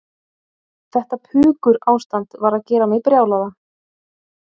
Þetta pukurástand var að gera mig brjálaða.